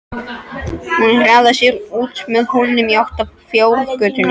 Hún hraðar sér út með hólnum í átt að fjárgötunni.